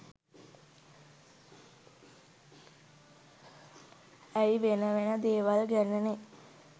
ඇයි වෙන වෙන දේවල් ගැනනේ